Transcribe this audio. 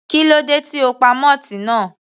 Kílódé tí o pa moth náà?.